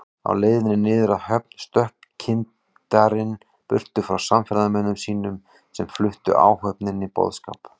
Á leiðinni niður að höfn stökk kyndarinn burtu frá samferðamönnum sínum, sem fluttu áhöfninni boðskap